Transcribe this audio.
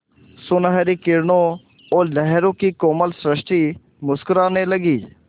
सुनहली किरणों और लहरों की कोमल सृष्टि मुस्कराने लगी